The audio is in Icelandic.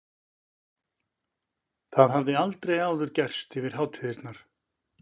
Það hafði aldrei áður gerst yfir hátíðarnar.